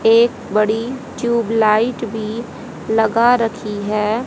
एक बड़ी tube light भी लगा रखी है।